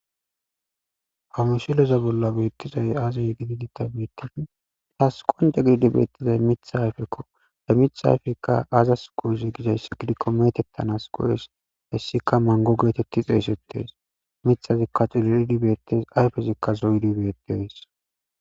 hamishileza bolla beettizay aazay gididi ta biittin taas qonja giidi beettizay mithayfekko de mithayfekka aazas qoyezi gidayss gidikko metettanas qo7es hessika mango geetetti xeesettes mithazikka xulelidi beettes ayfezikka zoydi beettees